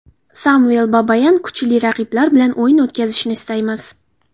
Samvel Babayan: - Kuchli raqiblar bilan o‘yin o‘tkazishni istaymiz.